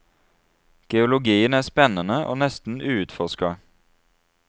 Geologien er spennende og nesten uutforsket.